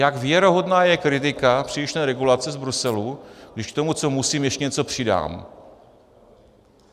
Jak věrohodná je kritika přílišné regulace z Bruselu, když k tomu, co musím, ještě něco přidám?